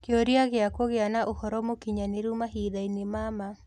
Kĩũria kĩa kũgĩa na ũhoro mũkinyanĩru mahinda-inĩ ma ma.